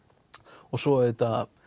og svo auðvitað